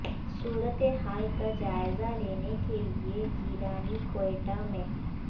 صورت حال کا جائزہ لینے کے لیے گیلانی کوئٹہ میں